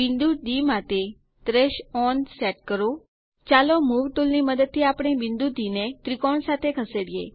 બિંદુ ડી માટે trace on set કરો ચાલો મૂવ ટુલ ની મદદ થી આપણે બિંદુ ડી ને ત્રિકોણ સાથે ખસેડીએ